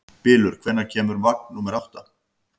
Bylur, hvenær kemur vagn númer átta?